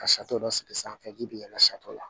Ka dɔ sigi sanfɛ ji bɛ yɛlɛ sato la